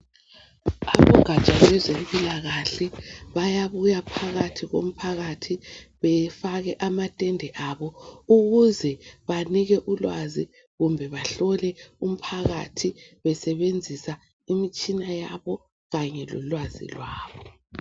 Abogatsha lwezempilakahla bayabuya phakathi komphakathi befake amatende abo ukuze banike ulwazi kumbe bahlole umphakathi besebenzisa imitshina yabo kanye lolwazi lwabo.